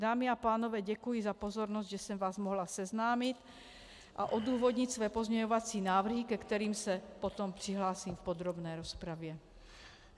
Dámy a pánové, děkuji za pozornost, že jsem vás mohla seznámit a odůvodnit své pozměňovací návrhy, ke kterým se potom přihlásím v podrobné rozpravě.